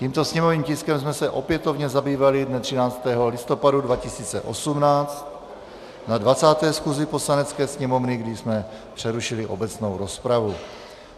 Tímto sněmovním tiskem jsme se opětovně zabývali dne 13. listopadu 2018 na 20. schůzi Poslanecké sněmovny, kdy jsme přerušili obecnou rozpravu.